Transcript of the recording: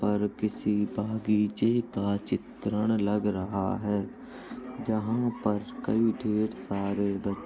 पर किसी बगीचे का चित्रण लग रहा है जहाँ पर कई ढेर सारे ब --